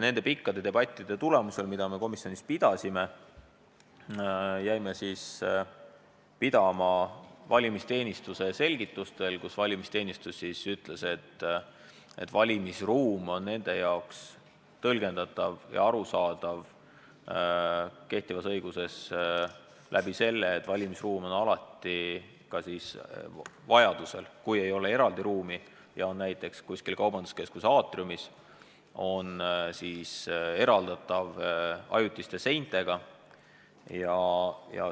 Pikkade debattide tulemusel, mida me komisjonis pidasime, jäime pidama valimisteenistuse selgitustel, millega valimisteenistus ütles, et kehtivas õiguses on valimisruum nende jaoks tõlgendatav ja arusaadav selle kaudu, et valimisruum on alati eraldi ruum ja kui eraldi ruumi ei ole – näiteks kaubanduskeskuse aatriumis –, siis on ta eraldatud ajutiste seintega.